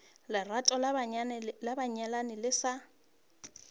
lerato la banyalani le sa